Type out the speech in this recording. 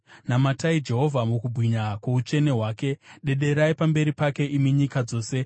Namatai Jehovha mukubwinya kwoutsvene hwake; dederai pamberi pake, imi nyika dzose.